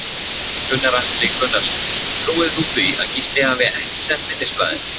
Gunnar Atli Gunnarsson: Trúir þú því að Gísli hafi ekki sent minnisblaðið?